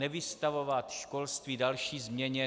Nevystavovat školství další změně.